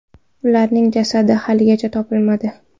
Ularning jasadi haligacha topilmadi.